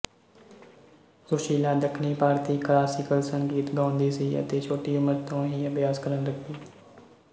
ਸੁਸ਼ੀਲਾ ਦੱਖਣੀ ਭਾਰਤੀ ਕਲਾਸੀਕਲ ਸੰਗੀਤ ਗਾਉਂਦੀ ਸੀ ਅਤੇ ਛੋਟੀ ਉਮਰ ਤੋਂ ਹੀ ਅਭਿਆਸ ਕਰਨ ਲੱਗੀ